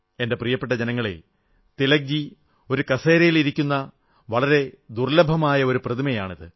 എന്റെ പ്രിയപ്പെട്ട ജനങ്ങളേ തിലക്ജി ഒരു കസേരയിൽ ഇരിക്കുന്ന വളരെ ദുർല്ലഭമായ ഒരു പ്രതിമയാണ് ഇത്